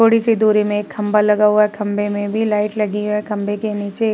थोड़े सी दूरी में एक खंभा लगा हुआ है। खंबे में भी लाइट लगी है। खम्बे के नीचे --